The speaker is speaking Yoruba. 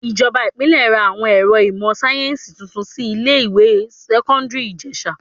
Ìjọba Ìpínlẹ̀ ra àwọn ẹ̀rọ ìmò sáyẹ́nsì tuntun sí ilé ìwé sẹ́kọ́ńdírì Ìjẹ̀sà..